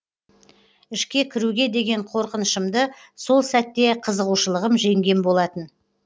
ішке кіруге деген қорқынышымды сол сәтте қызығушылығым жеңген болатын